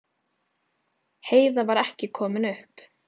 Heiða var ekki komin upp.